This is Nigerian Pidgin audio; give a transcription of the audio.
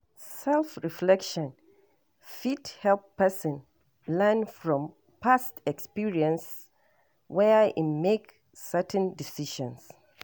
Self reflection fit help person learn from past experiences where im make certain decisions